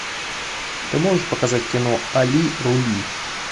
ты можешь показать кино али рули